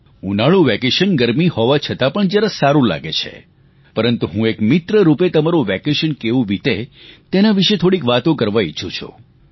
ઉનાળુ વેકેશન ગરમી હોવા છતાં પણ જરા સારું લાગે છે પરંતુ હું એક મિત્રરૂપે તમારું વેકેશન કેવું વીતે તેના વિષે થોડીક વાતો કરવા ઈચ્છું છું